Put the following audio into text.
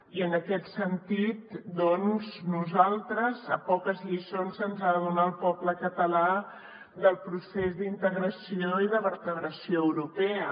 i en aquest sentit doncs a nosaltres poques lliçons se’ns han de donar al poble català del procés d’integració i de vertebració europea